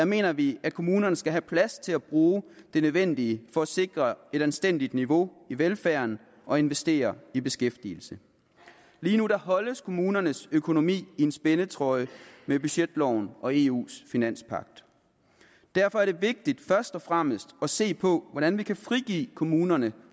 mener vi at kommunerne skal have plads til at bruge det nødvendige for at sikre et anstændigt niveau i velfærden og investere i beskæftigelse lige nu holdes kommunernes økonomi i en spændetrøje med budgetloven og eus finanspagt derfor er det vigtigt først og fremmest at se på hvordan vi kan frigive kommunerne